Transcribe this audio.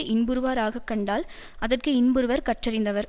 இன்புறுவாராகக் கண்டால் அதற்கு இன்புறுவர் கற்றறிந்தவர்